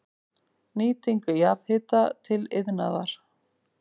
Nýting jarðhita til iðnaðar